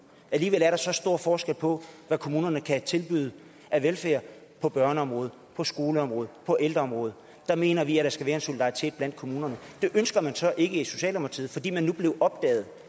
og alligevel er der så stor forskel på hvad kommunerne kan tilbyde af velfærd på børneområdet på skoleområdet på ældreområdet der mener vi at der skal være en solidaritet blandt kommunerne det ønsker man så ikke i socialdemokratiet fordi man blev opdaget